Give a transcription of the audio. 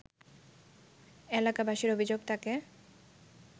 এলাকাবাসীর অভিযোগ তাকে